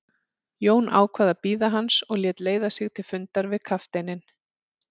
Jón ákvað að bíða hans og lét leiða sig til fundar við kafteininn.